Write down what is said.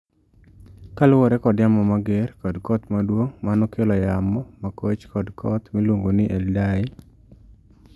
kaluwore kod yamo mager kod koth maduong' ma nokelo yamo makoch kod koth miluongo ni Idai